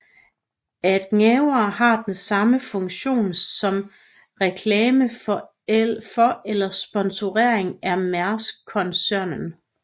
At gaverne har samme funktion som reklame for eller sponsorering af Maersk koncernen